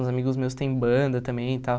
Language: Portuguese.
Os amigos meus têm banda também e tal.